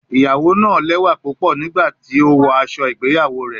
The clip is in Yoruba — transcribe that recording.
Iyawo naa lẹwa pupọ nigbati o wọ aṣọ igbeyawo rẹ